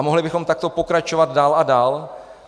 A mohli bychom takto pokračovat dál a dál.